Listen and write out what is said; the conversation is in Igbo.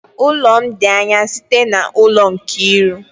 Ụlọ m dị anya site n'ụlọ Nkiru